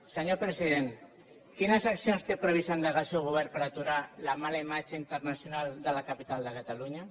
senyor president quines accions té previst endegar el seu govern per aturar la mala imatge internacional de la capital de catalunya